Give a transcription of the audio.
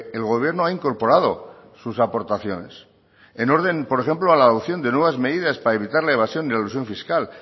el gobierno ha incorporado sus aportaciones en orden por ejemplo a la adopción de nuevas medidas para evitar la evasión de elusión fiscal